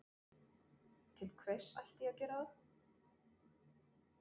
Til hvers ætti ég að gera það?